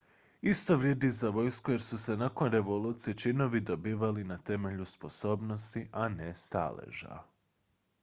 isto vrijedi i za vojsku jer su se nakon revolucije činovi dobivali na temelju sposobnosti a ne staleža